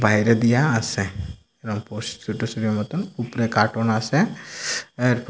বাইরে দিয়া আসে এবং মতন উপরে কার্টুন আসে এরপর--